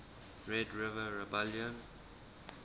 red river rebellion